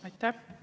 Aitäh!